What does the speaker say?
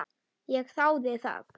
Ég þáði það.